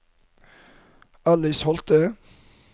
Alice Holte